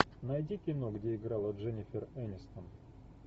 найди кино где играла дженнифер энистон